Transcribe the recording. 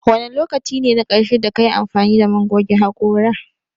Wane lokaci ne na ƙarshe da kayi amfani da man goge haƙora?